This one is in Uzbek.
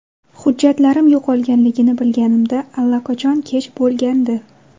Hujjatlarim yo‘qolganini bilganimda allaqachon kech bo‘lgandi.